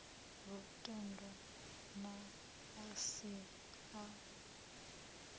lutendo na a si a